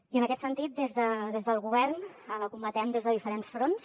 i en aquest sentit des del govern la combatem des de diferents fronts